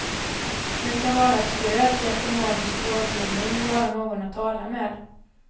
Vi kan vara ett stöd, ge ekonomisk rådgivning, vara någon att tala med.